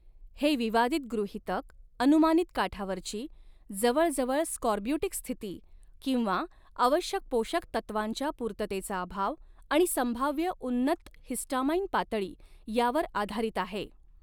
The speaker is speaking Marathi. हे विवादित गृहीतक, अनुमानित काठावरची, जवळजवळ स्कॉर्ब्युटिक स्थिती किंवा आवश्यक पोषक तत्वांच्या पूर्ततेचा अभाव आणि संभाव्य उन्नत हिस्टामाइन पातळी यावर आधारित आहे.